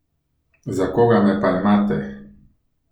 Za koga me pa imate?